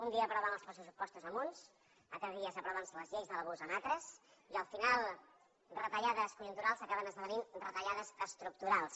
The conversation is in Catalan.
un dia aproven els pressupostos amb uns altres dies aproven les lleis de l’abús amb altres i al final retallades conjunturals acaben esdevenint retallades estructurals